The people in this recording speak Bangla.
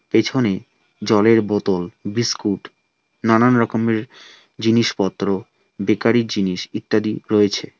পেছনে জলের বোতল বিস্কুট নানান রকমের জিনিসপত্র বেকারী জিনিস ইত্যাদি রয়েছে।